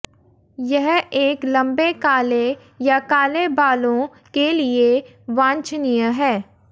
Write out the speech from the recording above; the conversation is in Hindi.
यह एक लंबे काले या काले बालों के लिए वांछनीय है